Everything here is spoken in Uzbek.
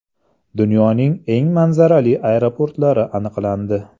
Dunyoning eng manzarali aeroportlari aniqlandi.